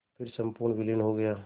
फिर संपूर्ण विलीन हो गया